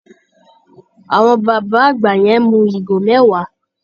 Àwọn bàbá àgbà yẹn mu ẹmu ìgò mẹ́wàá.